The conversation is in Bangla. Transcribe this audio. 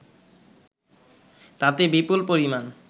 তাতে বিপুল পরিমাণ